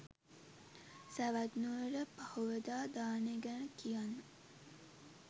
සැවැත් නුවර පහුවදා දානෙ ගැන කියන්න